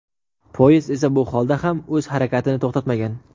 Poyezd esa bu holda ham o‘z harakatini to‘xtatmagan.